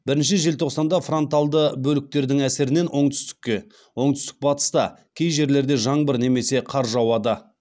бірінші желтоқсанда фронталды бөліктердің әсерінен оңтүстікте оңтүстік батыста кей жерлерде жаңбыр немесе қар жауады